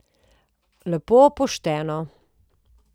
Lepo pošteno.